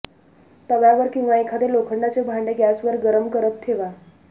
तव्यावर किंवा एखादे लोखंडाचे भांडे गॅसवर गरम करत ठेवा